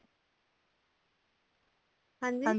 ਹਾਂਜੀ